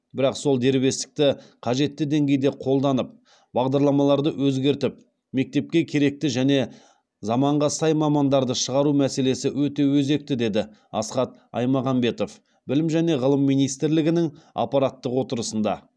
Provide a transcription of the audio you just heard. бірақ сол дербестікті қажетті деңгейде қолданып бағдарламаларды өзгертіп мектепке керекті және заманға сай мамандарды шығару мәселесі өте өзекті деді асхат аймағамбетов білім және ғылым министрлігінің аппараттық отырысында